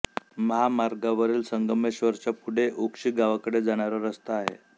महामार्गावरील संगमेश्वरच्या पुढे उक्षी गावाकडे जाणारा रस्ता आहे